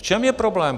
V čem je problém?